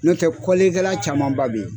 N'o tɛ camanba beyi.